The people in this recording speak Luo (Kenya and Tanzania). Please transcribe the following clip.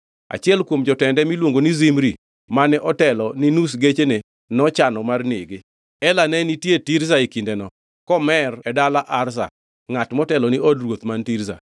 Achiel kuom jotende miluongo ni Zimri mane otelo ni nus gechene nochano mar nege. Ela ne nitie Tirza e kindeno, komer e dala Arza, ngʼat motelo ni od ruoth man Tirza.